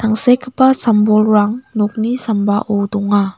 tangsekgipa sam-bolrang nokni sambao donga.